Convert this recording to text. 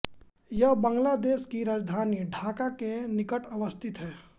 यह बांग्लादेश की राजधानी ढाका के निकट अवस्थित है